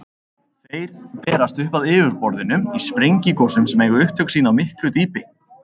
Þeir berast upp að yfirborðinu í sprengigosum sem eiga upptök sín á miklu dýpi.